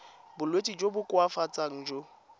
bolwetsi jo bo koafatsang jo